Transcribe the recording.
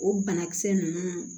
O banakisɛ ninnu